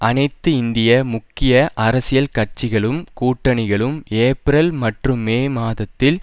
அனைத்து இந்திய முக்கிய அரசியல் கட்சிகளும் கூட்டணிகளும் ஏப்ரல் மற்றும் மே மாதத்தில்